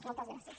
moltes gràcies